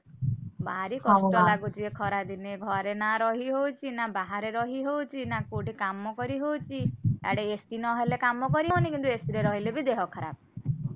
ଭାରି କଷ୍ଟ ଲାଗୁଛି ଏଖରା ଦିନେ, ଘରେ ନାଁ ରହି ହଉଛି ନାଁ ବାହାରେ ରହି ହଉଛି ନାଁ କୋଉଠି କାମ କରିହଉଛି , ଆଡେ AC ନ ହେଲେ କାମ କରିହଉନି , କିନ୍ତୁ AC ରେ ରହିଲେ ଦେହ ଖରାପ।